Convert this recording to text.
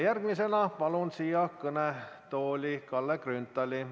Järgmisena palun siia kõnetooli Kalle Grünthali.